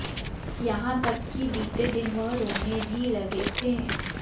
यहां तक कि बीते दिन वह रोने भी लगे थे